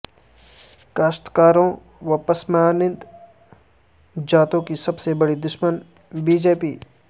کاشتکاروں و پسماند ہ ذاتوں کی سب سے بڑی د شمن بی جے پی